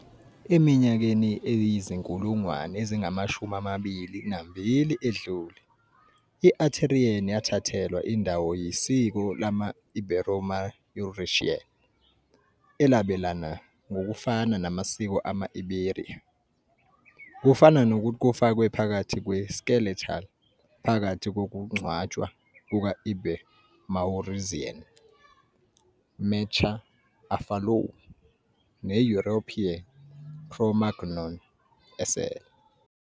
Eminyakeni eyizinkulungwane ezingamashumi amabili nambili edlule, i-Aterian yathathelwa indawo yisiko lama-Iberomaurusian, elabelana ngokufana namasiko ama-Iberia. Kufana nokuthi kufakwe phakathi kwe-Skeletal phakathi kokungcwatshwa kuka-Iberomaurusian "Mechta-Afalou" ne-European Cro-Magnon esele.